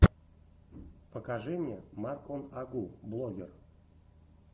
покажи мне марк он агу блогер